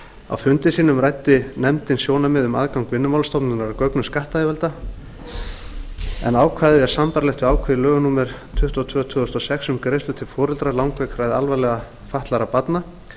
á fundum sínum ræddi nefndin sjónarmið um aðgang vinnumálastofnunar að gögnum skattyfirvalda en ákvæðið er sambærilegt ákvæði í lögum númer tuttugu og tvö tvö þúsund og sex um greiðslur til foreldra langveikra eða alvarlega fatlaðra barna